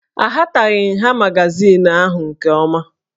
Ahataghị nha magazin ahụ nke ọma